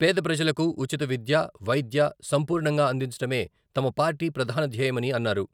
పేద ప్రజలకు ఉచిత విద్య, వైద్య సంపూర్ణంగా అందించడమే తమ పార్టీ ప్రధాన ధ్యేయమని అన్నారు.